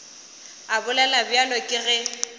a bolela bjalo ke ge